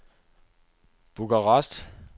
Bukarest